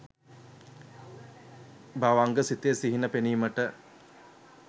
භවන්ග සිතේ සිහින පෙනීමට